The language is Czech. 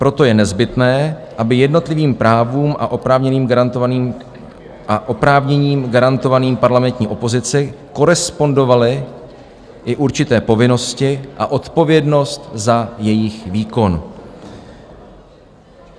Proto je nezbytné, aby jednotlivým právům a oprávněním garantovaným parlamentní opozici korespondovaly i určité povinnosti a odpovědnost za jejich výkon."